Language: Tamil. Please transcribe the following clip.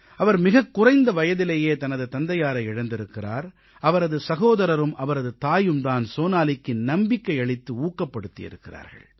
அவர் மிகக் குறைந்த வயதிலேயே தனது தந்தையாரை இழந்திருக்கிறார் அவரது சகோதரரும் அவரது தாயும் தான் சோனாலிக்கு நம்பிக்கை அளித்து ஊக்கப்படுத்தியிருக்கிறார்கள்